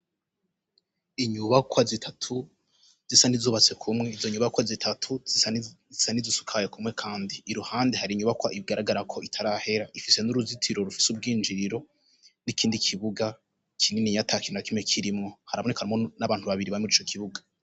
Inyubakwa zitatu zisa nizubatse kumwe izo nyubakwa zitatu izisa niz usukaye kumwe, kandi i ruhande hari inyubakwa ibigaragara ko itarahera ifise n'uruzitiro rufise ubwinjiriro n'ikindi kibuga kinini yatakiri na kime kirimwo harabunekanmo n'abantu babiri bame rico kibuga.